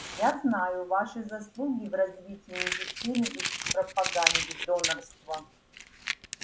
я знаю ваши заслуги в развитии медицины и в пропаганде донорства